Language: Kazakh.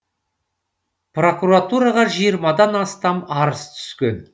прокуратураға жиырмадан астам арыз түскен